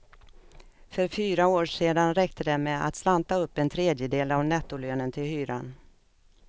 För fyra år sedan räckte det med att slanta upp en tredjedel av nettolönen till hyran.